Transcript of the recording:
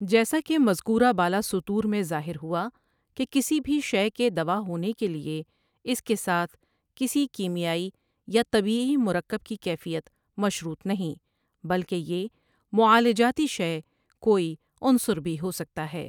جیسا کہ مذکورہ بالا سطور میں ظاہر ہوا کہ کسی بھی شۓ کے دوا ہونے کے لیے اس کے ساتھ کسی کیمیائی یا طبیعی مرکب کی کیفیت مشروط نہیں بلکہ یہ معالجاتی شے کوئی عنصر بھی ہو سکتا ہے ۔